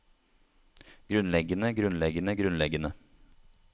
grunnleggende grunnleggende grunnleggende